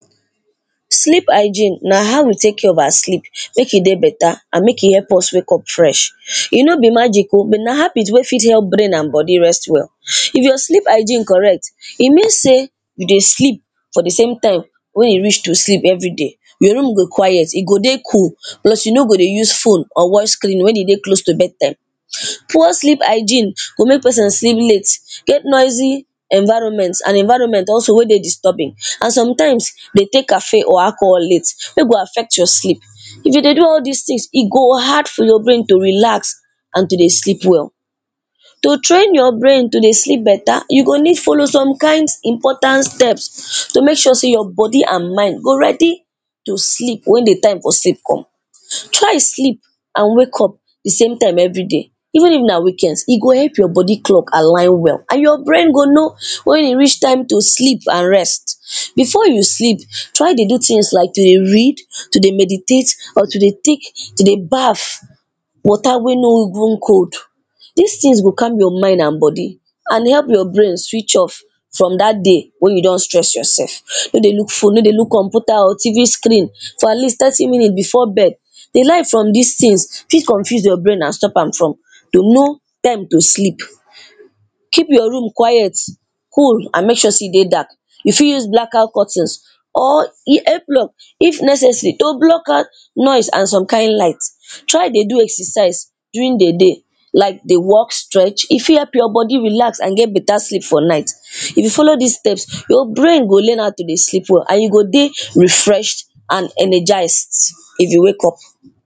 Sleep hygiene na how we take care of our sleep make e better and make e help us wake up fresh. E no be magic oh, na habit wey fit help brain and body rest well. If your sleep hygiene correct e mean sey, you dey sleep for di same time wey e reach to sleep everyday. Your room go quiet, e go dey cool, plus you no go use phone or watch TV wen you dey close to bed time. Poor sleep hygiene go make person sleep late, get noisy environment and environment also wen dey very disturbing. And sometimes dey take caffeine or alcohol wen go affect your sleep, if you dey do all dis things, e go hard for your brain to dey relax and to dey sleep well. To train your brain to dey sleep better, you go need follow some kind of important steps, to make sure sey your body and mind go ready to sleep wen di time for sleep come. Try sleep and wake up di same times everyday, even if na weekends e go help your body clock align well and your brain go now wen e reach time to sleep and rest well. Before you sleep, try to dey do things like to dey read, to dey meditate or to dey take, to dey baf water wey no even cold. Dis things go calm your mind and body, and go help your brain switch off from dat day, wen you don stress yourself. No dey look phone, no dey look computer or TV screen for at least thirty minutes before bed. Di light from dis things fit confuse your brain and stop from to know time to sleep. Keep your room quiet, cool and make sure sey e dey dark, you fit use blacker curtains or [2] if necessary to block out noise and some kind light, try dey do exercise during di day. Like dey walk, stretch, e fit help your body relax, and get better sleep for night. If you follow dis steps your brain go learn how to dey sleep well and you go dey refreshed and energised, if you wake up.